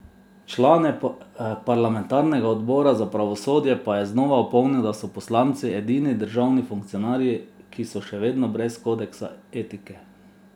Člane parlamentarnega odbora za pravosodje pa je znova opomnil, da so poslanci edini državni funkcionarji, ki so še vedno brez kodeksa etike.